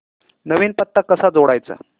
नवीन पत्ता कसा जोडायचा